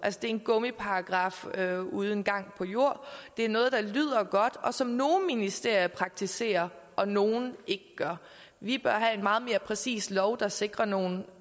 det er en gummiparagraf uden gang på jord det er noget der lyder godt og som nogle ministerier praktiserer og nogle ikke gør vi bør have en meget mere præcis lov der sikrer nogle